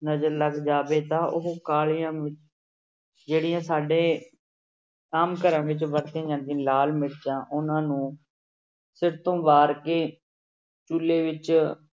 ਨਜ਼ਰ ਲੱਗ ਜਾਵੇ ਤਾਂ ਉਹ ਕਾਲੀਆਂ ਮਿ~ ਜਿਹੜੀਆਂ ਸਾਡੇ ਆਮ ਘਰਾਂ ਵਿੱਚ ਵਰਤੀਆਂ ਜਾਂਦੀਆਂ ਲਾਲ ਮਿਰਚਾਂ ਉਹਨਾਂ ਨੂੰ ਸਿਰ ਤੋਂ ਵਾਰ ਕੇ ਚੁੱਲੇ ਵਿੱਚ